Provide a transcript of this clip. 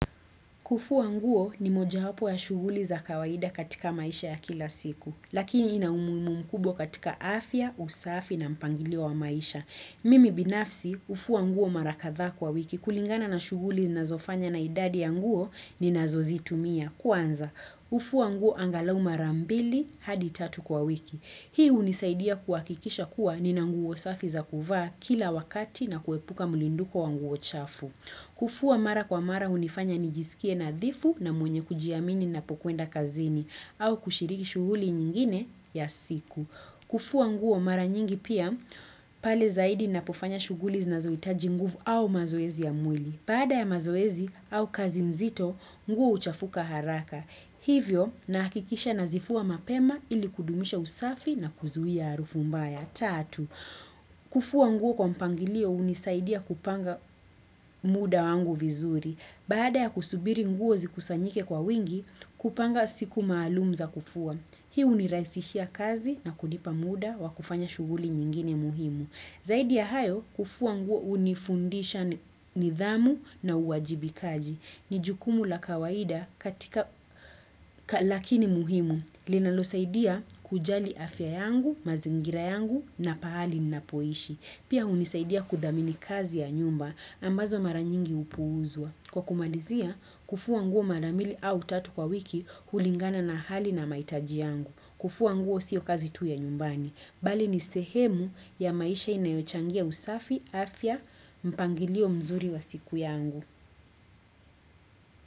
Kufua nguo ni moja wapo ya shuguli za kawaida katika maisha ya kila siku, lakini ina umuhimu mkubwa katika afya, usafi na mpangilio wa maisha. Mimi binafsi, hufua nguo mara kadhaa kwa wiki kulingana na shughuli ninazofanya na idadi ya nguo ninazozitumia. Kwanza, hufua nguo angalau mara mbili hadi tatu kwa wiki. Hii hunisaidia kuhakikisha kuwa nina nguo safi za kuvaa kila wakati na kuepuka mrundiko wa nguo chafu. Kufua mara kwa mara hunifanya nijisikie nadhifu na mwenye kujiamini napokwenda kazini au kushiriki shughuli nyingine ya siku. Kufua nguo mara nyingi pia pale zaidi napofanya shuguli zinazohitaji nguvu au mazoezi ya mwili. Baada ya mazoezi au kazi nzito, nguo huchafuka haraka. Hivyo nahakikisha nazifua mapema ili kudumisha usafi na kuzuia harufu mbaya. Tatu, kufua nguo kwa mpangilio hunisaidia kupanga muda wangu vizuri. Baada ya kusubiri nguo zikusanyike kwa wingi, kupanga siku maalum za kufua. Hii hunirahisishia kazi na kunipa muda wa kufanya shughuli nyingine muhimu. Zaidi ya hayo, kufua nguo hunifundisha nidhamu na uwajibikaji. Ni jukumu la kawaida katika lakini muhimu. Linalo saidia kujali afya yangu, mazingira yangu na pahali ninapoishi. Pia hunisaidia kudhamini kazi ya nyumba ambazo mara nyingi hupuuzwa. Kwa kumalizia, kufua nguo mara mbili au tatu kwa wiki hulingana na hali na mahitaji yangu. Kufua nguo sio kazi tu ya nyumbani. Bali ni sehemu ya maisha inayochangia usafi afya mpangilio mzuri wa siku yangu.